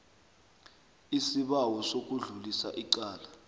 isibawo sokudlulisa icala